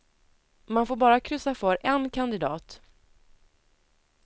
Man får bara kryssa för en kandidat.